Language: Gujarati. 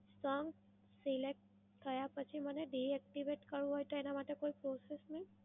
song select થાય પછી મને deactivate કરવું હોય તો એના માટે કોઈ process છે?